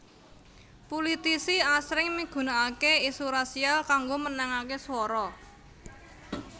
Pulitisi asring migunakaké isu rasial kanggo menangaké swara